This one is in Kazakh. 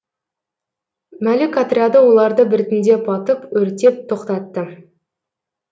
мәлік отряды оларды біртіндеп атып өртеп тоқтатты